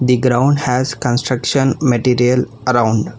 The ground has construction material around.